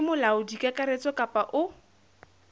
ke molaodi kakaretso kapa o